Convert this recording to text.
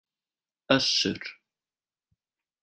Össur